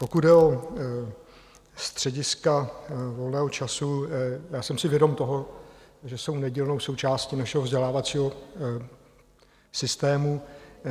Pokud jde o střediska volného času, já jsem si vědom toho, že jsou nedílnou součástí našeho vzdělávacího systému.